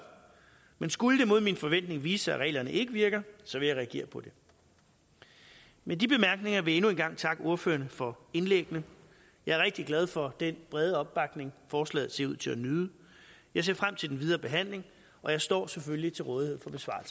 men skulle det mod min forventning vise sig at reglerne ikke virker så vil jeg reagere på det med de bemærkninger vil jeg endnu en gang takke ordførerne for indlæggene jeg er rigtig glad for den brede opbakning forslaget ser ud til at nyde jeg ser frem til den videre behandling og jeg står selvfølgelig til rådighed